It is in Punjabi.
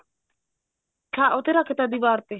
ਹਾਂ ਉਹ ਤੇ ਰੱਖ ਤਾ ਦੀਵਾਰ ਤੇ